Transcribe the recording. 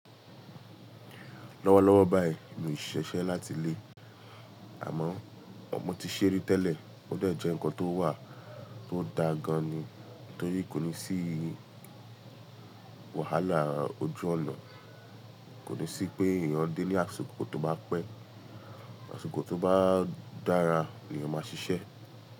Lọ́wọ́lọ́wọ́ báyìí, mi ò ṣiṣẹ́ láti ilé àmọ́ o mọ ti ṣe ri tẹ́lẹ̀ ó de jẹ́ ǹkan tó wà tó da gan-an ni torí kò ní sí wàhálà ojú ọ̀nà, kò ní sí pé èèyàn dé ni asiko to bá pẹ́, àsiko tó bá dára lẹyan máa ṣiṣẹ́